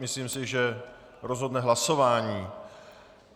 Myslím si, že rozhodne hlasování.